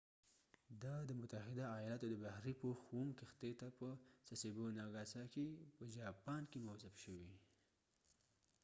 دا د متحده ایالاتو د بحرې پوخ اووم کښتۍ ته په سسیبو ناګاساکې sasebo nagasaki په جاپان کې موظف شوي